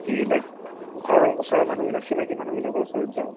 কি like ও ঘৰৰ ওচৰৰ মানুহবিলাক চিনাকি মানুহবিলাকৰ ওচৰত যাও